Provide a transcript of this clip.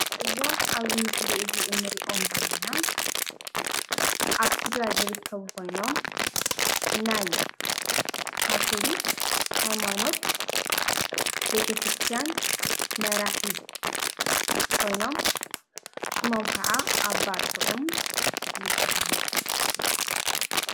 እዞም ኣብዚ ምስሊ እዚ እንሪኦም ዘለና ኣብ ትግራይ ዝርከቡ ኮይኖም ናይ ካቶሊክ ሃይማኖት ቤተ ክርስትያን መራሒ ኮይኖም ሽሞም ክዓ ኣባ ጥዑም ይብሃሉ።